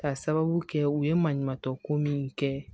Ka sababu kɛ u ye maɲumatɔ ko min kɛ